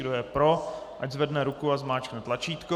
Kdo je pro, ať zvedne ruku a zmáčkne tlačítko.